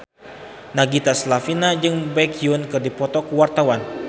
Nagita Slavina jeung Baekhyun keur dipoto ku wartawan